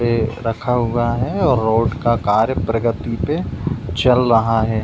ए रखा हुआ है और रोड का कार्य प्रगति पे चल रहा है।